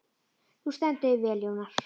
Þú stendur þig vel, Jónar!